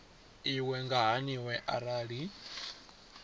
iwe i nga haniwa arali